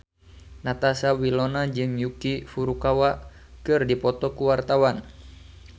Natasha Wilona jeung Yuki Furukawa keur dipoto ku wartawan